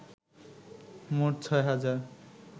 মোট ৬ হাজার